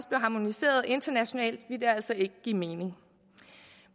harmoniseret internationalt vil det altså ikke give mening